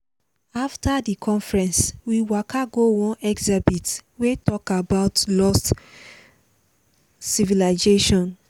after di conference we waka go one exhibit wey talk about lost civilization.